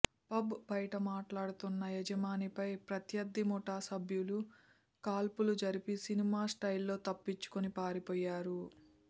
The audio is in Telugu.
పబ్ బయట మాట్లాడుతున్న యజమానిపై ప్రత్యర్థి ముఠా పభ్యులు కాల్పులు జరిపి సినిమా స్టైల్లో తప్పించుకుని పారిపోయారు